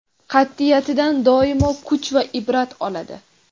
qat’iyatidan doimo kuch va ibrat oladi!.